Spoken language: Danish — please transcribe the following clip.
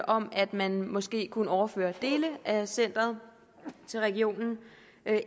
om at man måske kunne overføre dele af centeret til regionen